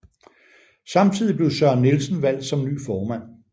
Samtidig blev Søren Nielsen valgt som ny formand